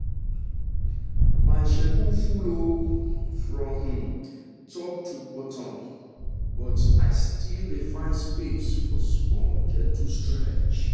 my schedule full um from um top to bottom but i still dey find space for small gentle stretch.